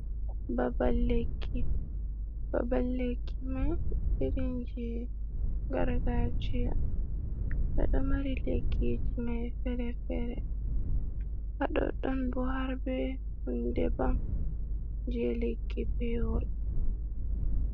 Babal lekki, babal lekki man irin jei gargajiya. Ɓe ɗo mari lekkiji mai fere-fere. Ha ɗoɗɗon bo har be hunde baf, jei lekki pewol.